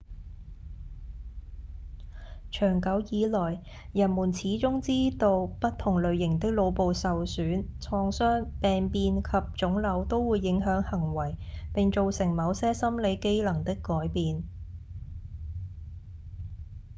長久以來人們始終知道不同類型的腦部受損、創傷、病變及腫瘤都會影響行為並造成某些心理機能的改變